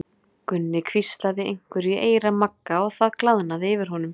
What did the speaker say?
Gunni hvíslaði einhverju í eyra Magga og það glaðnaði yfir honum.